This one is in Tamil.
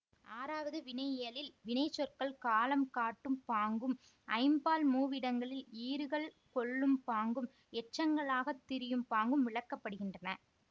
ஆறாவது வினையியலில் வினைச்சொற்கள் காலம் காட்டும் பாங்கும் ஐம்பால் மூவிடங்களில் ஈறுகள் கொள்ளும் பாங்கும் எச்சங்களாகத் திரியும் பாங்கும் விளக்கப்படுகின்றன